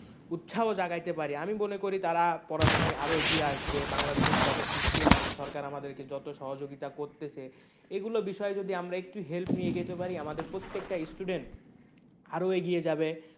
উৎসাহ জাগাইতে পারি আমি মনে করি তারা পড়াশোনায় আরো এগিয়ে আসবে বাংলাদেশের যত system আছে সরকার আমাদেরকে যতো সহযোগিতা করতেছে এগুলো বিষয়ে যদি আমরা একটু help নিয়ে এগোইতে পারি আমাদের প্রত্যেকটা student আরো এগিয়ে যাবে।